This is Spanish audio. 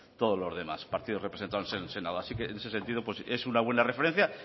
todos los demás partidos representados en el senado así que en ese sentido pues es una buena referencia